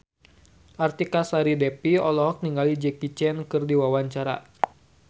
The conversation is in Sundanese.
Artika Sari Devi olohok ningali Jackie Chan keur diwawancara